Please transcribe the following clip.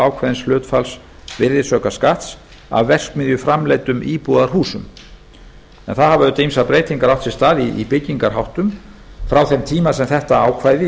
ákveðins hlutfalls virðisaukaskatts af verksmiðjuframleiddum íbúðarhúsum það hafa auðvitað ýmsar breytingar átt sér stað í byggingarháttum frá þeim tíma sem þetta ákvæði í